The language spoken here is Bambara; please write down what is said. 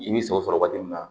I bi sɔ sɔrɔ waati min na